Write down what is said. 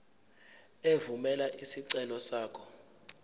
evumela isicelo sakho